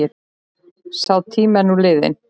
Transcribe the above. Sá tími er nú liðinn.